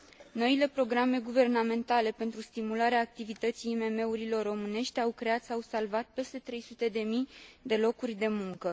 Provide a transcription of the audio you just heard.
Noile programe guvernamentale pentru stimularea activității IMM urilor românești au creat sau salvat peste 300 de mii de locuri de muncă.